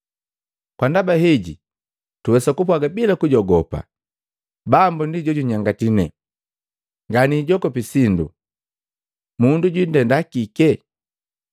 Kwa ndaba heji tuwesa kupwaga bila kujogopa, “Bambo ndi jo junyangati ne, Nga niijogopi sindu. Mundu jwindenda kike?”